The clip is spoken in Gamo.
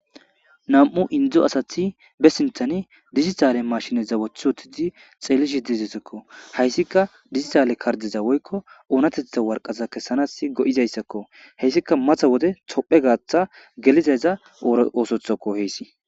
Nam'u indo asati be sinteni dijitale mashineza woti wotidi xelishe dizeziko haysika dijitale kardeza woyko onateta woraqata kesanasi go'izaysakko heysika mata wode tophe gata gelizayza ora osotakko heysi.